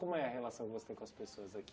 Como é a relação que você tem com as pessoas aqui?